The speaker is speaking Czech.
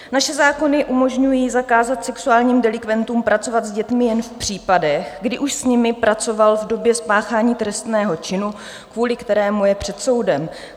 Naše zákony umožňují zakázat sexuálnímu delikventu pracovat s dětmi jen v případech, kdy už s nimi pracoval v době spáchání trestného činu, kvůli kterému je před soudem.